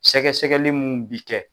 Sɛgɛsɛgɛli mun bi kɛ